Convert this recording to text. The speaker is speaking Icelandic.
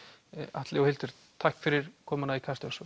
Atli og Hildur takk fyrir komuna í Kastljós